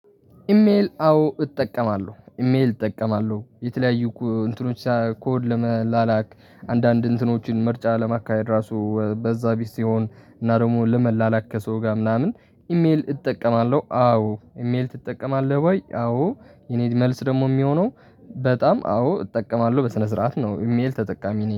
ኢሜል አዎ እጠቀማለሁ ኢሜል እጠቀማለሁ የተለያዩ እንትኖች ሳይ ኮድ ለመላላክ አንዳንድ እንትኖችን ምርጫ ለማካሄድ ራሱ በዛ ቢስ ሲሆን እና ደግሞ ለመላላክ ከሰው ጋር ምናምን ኢሜል እጠቀማለሁ። አዎ ኢሜል ትጠቀማለህ ወይ? አዎ የኔ መልስ ደግሞ የሚሆነው በጣም አዎ እጠቀማለሁ በስነስርዓት ነው። ኢሜል ተጠቃሚ ነው